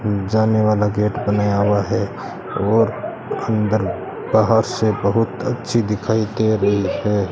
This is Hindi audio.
जाने वाला गेट बनाया हुआ है और अंदर बाहर से बहुत अच्छी दिखाई दे रही है।